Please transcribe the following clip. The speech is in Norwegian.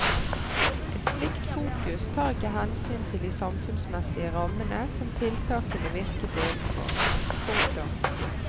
Et slikt fokus tar ikke hensyn til de samfunnsmessige rammene som tiltakene virket innenfor. punktum